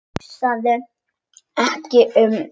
Hugsaði sig ekki um!